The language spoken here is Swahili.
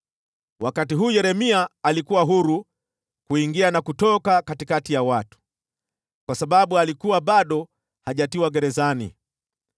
Wakati huu Yeremia alikuwa huru kuingia na kutoka katikati ya watu, kwa sababu alikuwa bado hajatiwa gerezani.